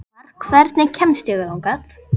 Oddmar, hvernig kemst ég þangað?